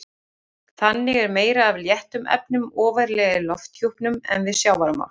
Þannig er meira af léttum efnum ofarlega í lofthjúpnum en við sjávarmál.